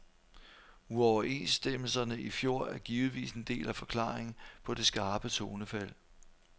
Uoverenstemmelserne i fjor er givetvis en del af forklaringen på det skarpe tonefald.